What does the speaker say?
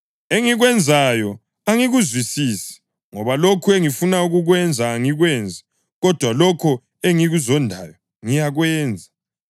Engikwenzayo angikuzwisisi. Ngoba lokho engifuna ukukwenza angikwenzi, kodwa lokho engikuzondayo ngiyakwenza.